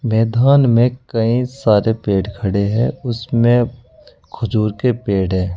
मैधान में कई सारे पेड़ खड़े हैं उसमें खजूर के पेड़ है।